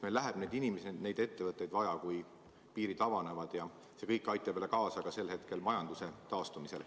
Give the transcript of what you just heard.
Meil läheb neid inimesi, neid ettevõtteid vaja, kui piirid avanevad, ning see kõik aitab siis kaasa majanduse taastumisele.